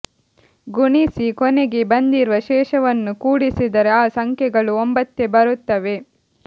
ಗುಣಿಸಿ ಕೊನೆಗೆ ಬಂದಿರುವ ಶೇಷವನ್ನು ಕೂಡಿದರೆ ಆ ಸಂಖ್ಯೆಗಳು ಒಂಬತ್ತೇ ಬರುತ್ತವೆ